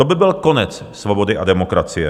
To by byl konec svobody a demokracie.